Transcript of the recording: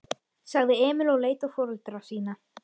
sagði Emil og leit á foreldra sína.